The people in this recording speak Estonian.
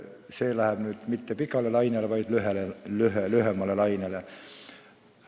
See läheb nüüd mitte pikale lainele, vaid lühemale lainele.